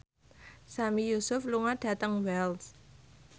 Sami Yusuf lunga dhateng Wells